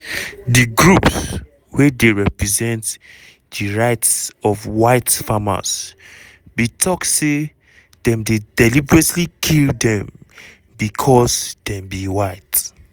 di groups wey dey represent di rights of white farmers bin tok say dem dey deliberately kill dem becos dem be white.